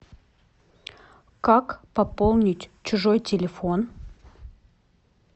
как пополнить чужой телефон